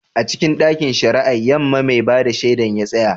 A cikin ɗakin shari'ar Yamma, mai ba da shaida ya tsaya.